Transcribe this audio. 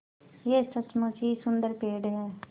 यह सचमुच ही सुन्दर पेड़ है